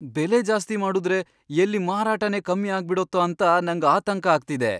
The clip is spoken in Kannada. ಬೆಲೆ ಜಾಸ್ತಿ ಮಾಡುದ್ರೆ ಎಲ್ಲಿ ಮಾರಾಟನೇ ಕಮ್ಮಿ ಆಗ್ಬಿಡತ್ತೋ ಅಂತ ನಂಗ್ ಆತಂಕ ಆಗ್ತಿದೆ.